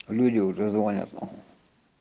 люди уже звонят